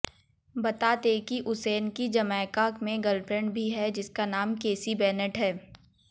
बता दें कि उसेन की जमैका में गर्लफ्रेंड भी है जिसका नाम केसी बेनेट है